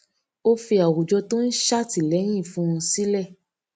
ó fi àwùjọ tó ń ṣè àtìlẹyìn fún un sílè